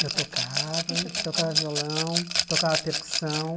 Eu tocava, tocava violão, tocava percussão.